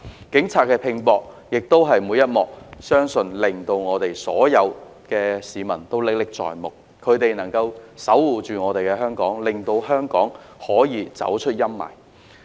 警方拚搏做事的每一幕，相信所有市民都歷歷在目，是他們守護着香港，令香港可以走出陰霾。